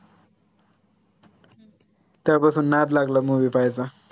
तेव्हा पासून नाद लागला movie पाहायचा